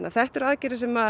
þetta eru aðgerðir sem